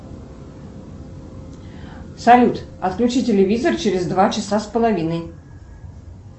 салют отключи телевизор через два часа с половиной